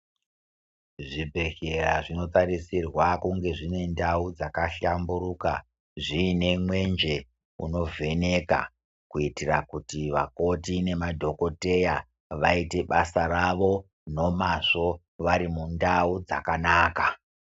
Zvibhehleya zvinotarisirwa kunge zvine ndau dzakahlamburuka zviine mwenje unovheneka kuitira kuti vakoti nemadhokodheya vaite basa ravo nomazvo vari mundau dzakanaka.